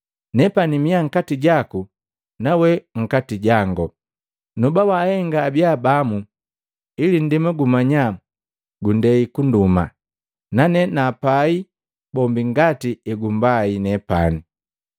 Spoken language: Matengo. Nepani miya nkati jaku nawe nkati jango, noba wahenga abiya bamu ngani ili ndema gumanya gundei kunduma, nane napai bombi ngati egumbai nepane.”